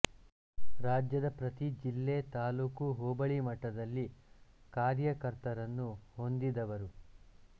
ರಾಜ್ಯದ ಪ್ರತಿ ಜಿಲ್ಲೆ ತಾಲ್ಲೂಕು ಹೋಬಳಿ ಮಟ್ಟದಲ್ಲಿ ಕಾರ್ಯಕರ್ತರನ್ನು ಹೊಂದಿದವರು